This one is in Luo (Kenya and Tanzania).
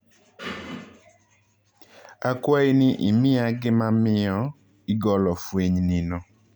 Akwayi ni imiya gimamiyo igolo fweny nino.